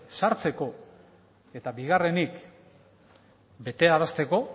sartzeko eta bigarrenik betearazteko